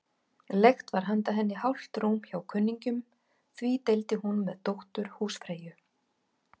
Leigt var handa henni hálft rúm hjá kunningjum, því deildi hún með dóttur húsfreyju.